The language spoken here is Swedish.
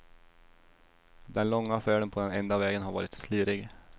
Den långa färden på den enda vägen har varit slirig.